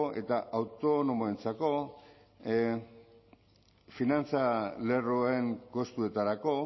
eta autonomoentzako finantza lerroen kostuetarako